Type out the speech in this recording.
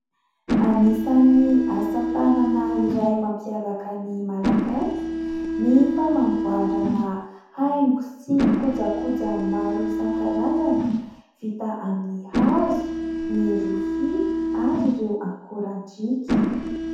Anisany asa tanana iray mampiavaka ny Malagasy ny fanamboarana haingo sy kojakoja maro isankarazany vita amin'ny hazo, ny rofia ary ireo ankorandriaka.